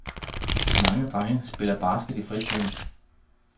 Mange drenge spiller basket i fritiden.